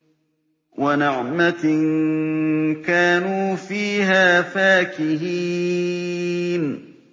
وَنَعْمَةٍ كَانُوا فِيهَا فَاكِهِينَ